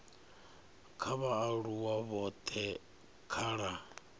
kha vhaaluwa vhothe kha la